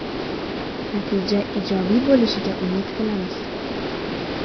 Natija ijobiy bo‘lishiga umid qilamiz.